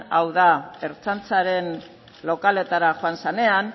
hau da ertzaintzaren lokaletara joan zenean